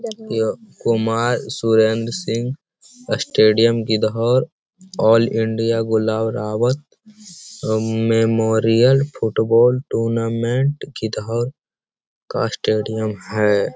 यह कुमार सुरेन्द्र सिंह स्टेडियम गीधर all India गुलाउरावत उ मेमोरियल फुटबॉल टूर्नामेंट गीधर का स्टेडियम है ।